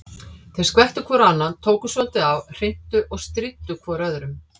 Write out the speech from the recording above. Þeir skvettu hvor á annan, tókust svolítið á, hrintu og stríddu hvor öðrum.